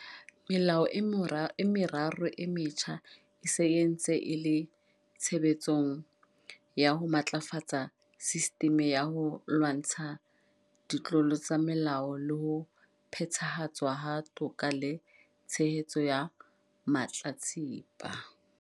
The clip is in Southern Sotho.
Melao e meraro e metjha e se e ntse e le tshebetsong ya ho matlafatsa sistimi ya ho lwantsha ditlolo tsa molao le ho phethahatswa ha toka le tshehetso ya mahlatsipa.